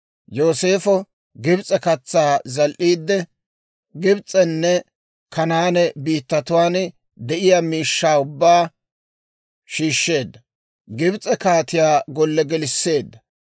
Yooseefo Gibs'e katsaa zal"iidde, Gibs'enne Kanaane biittatuwaan de'iyaa miishshaa ubbaa shiishsheedda; Gibs'e kaatiyaa golle gelisseedda.